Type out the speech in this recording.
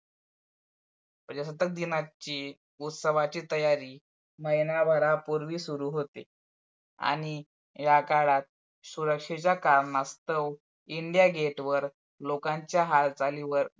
प्रजासत्ताक दिनाची उत्सवाची तयारी महिन्याभरापूर्वी सुरु होते आणि याकाळात सुरक्षेच्या कारणास्तव India gate वर लोकांच्या High value वर